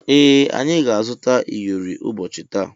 Ee anyị ga-azuta iyori ụbọchị taa.